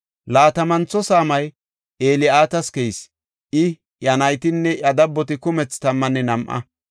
Laatamantho saamay Eli7aatas keyis; I, iya naytinne iya dabboti kumethi tammanne nam7a.